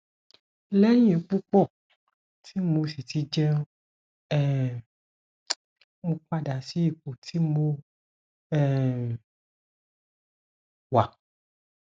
lẹyìn pupo tí mo sì ti jẹun um mo padà sí ipò tí mo um wà